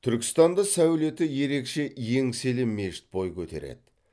түркістанда сәулеті ерекше еңселі мешіт бой көтереді